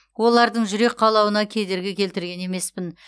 олардың жүрек қалауына кедергі келтірген емеспін